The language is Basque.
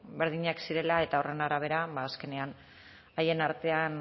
berdinak zirela eta horren arabera ba azkenean haien artean